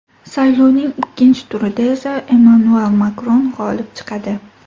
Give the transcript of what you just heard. Saylovning ikkinchi turida esa Emmanuel Makron g‘olib chiqadi.